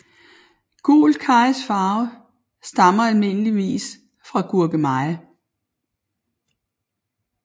Gul karrys farve stammer almindeligvis fra gurkemeje